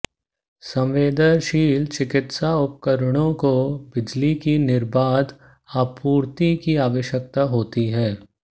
संवेदनशील चिकित्सा उपकरणों को बिजली की निर्बाध आपूर्ति की आवश्यकता होती है